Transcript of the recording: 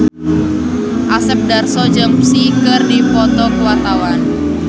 Asep Darso jeung Psy keur dipoto ku wartawan